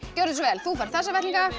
gjörðu svo vel þú færð þessa vettlinga